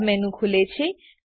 submenu ખુલે છે